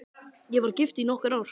Ég var gift í nokkur ár.